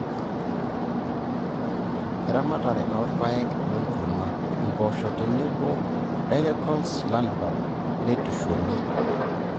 eramatare oorpaek we nkurma (impoosho tenebo dolichos lablab)neitushuli .